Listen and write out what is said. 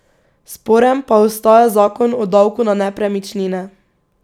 Sporen pa ostaja zakon o davku na nepremičnine.